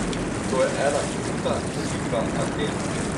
In to je ena kruta slika Aten.